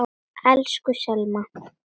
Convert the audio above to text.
Elsku Selma.